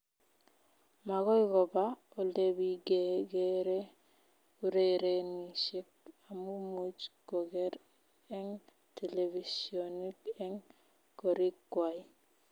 Magoy koba olebigegeree urerenishet amu much kogeer eng televishionit eng korik kwai